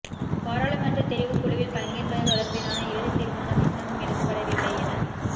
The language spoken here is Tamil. பாராளுமன்றத் தெரிவுக்குழுவில் பங்கேற்பது தொடர்பிலான இறுதித் தீர்மானம் இன்னமும் எடுக்கப்படவில்லை என